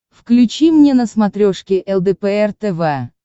включи мне на смотрешке лдпр тв